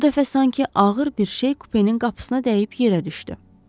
Bu dəfə sanki ağır bir şey kupenin qapısına dəyib yerə düşdü.